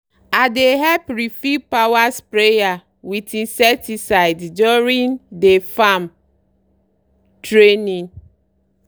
i dey help refill power sprayer with insecticide during dey farm training